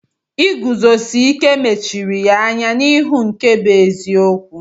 Iguzosi ike n'ihe mechiri ya anya n'ịhụ nke bụ eziokwu.